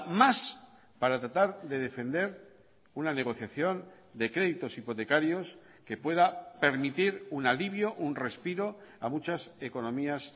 más para tratar de defender una negociación de créditos hipotecarios que pueda permitir un alivio un respiro a muchas economías